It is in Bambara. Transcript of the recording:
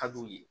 Ka d'u ye